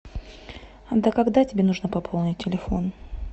а до когда тебе нужно пополнить телефон